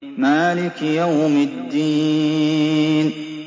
مَالِكِ يَوْمِ الدِّينِ